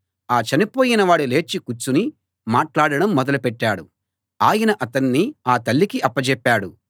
ఆ చనిపోయిన వాడు లేచి కూర్చుని మాట్లాడడం మొదలుపెట్టాడు ఆయన అతణ్ణి ఆ తల్లికి అప్పచెప్పాడు